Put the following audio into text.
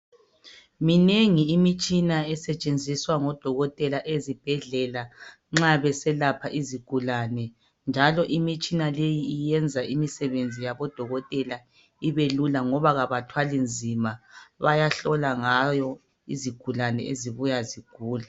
Minengi imitshina esetshenziswa ngodokotela ezibhedlela nxa beselapha izigulane njalo imitshina leyi iyenza imisebenzi yabodokotela ibelula ngoba abathwali nzima bayahlola ngayo izigulane ezibuya zigula.